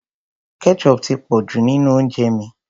Ketchup ti pọ̀ jù nínú oúnjẹ mi.